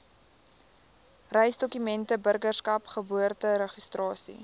reisdokumente burgerskap geboorteregistrasie